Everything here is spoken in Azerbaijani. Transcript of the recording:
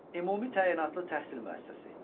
Ümumi təyinatlı təhsil müəssisəsi.